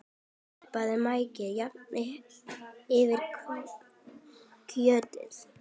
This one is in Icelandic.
Nuddaðu maukinu jafnt yfir kjötið.